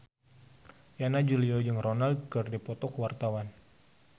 Yana Julio jeung Ronaldo keur dipoto ku wartawan